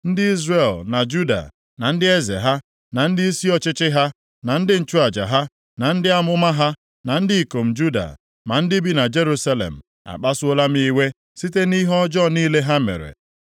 Ndị Izrel na Juda, na ndị eze ha, na ndịisi ọchịchị ha, na ndị nchụaja ha, na ndị amụma ha, na ndị ikom Juda, ma ndị bi na Jerusalem, akpasuola m iwe site nʼihe ọjọọ niile ha mere.